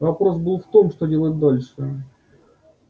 вопрос был в том что делать дальше